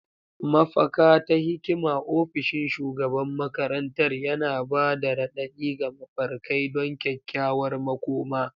Mafaka ta hikima, ofishin shugaban makarantar, yana ba da raɗaɗi ga mafarkai don kyakkyawar makoma.